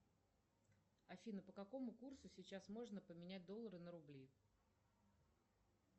афина по какому курсу сейчас можно поменять доллары на рубли